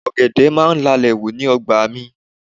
Ọ̀gẹ̀dẹ̀ máa ń lalẹ̀ hù ní ọgbà mi